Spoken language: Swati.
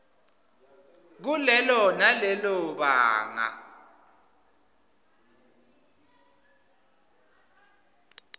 kulelo nalelo banga